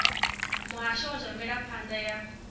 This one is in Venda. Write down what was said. muhasho wa zwa mvelaphanda ya